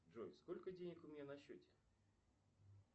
джой сколько денег у меня на счете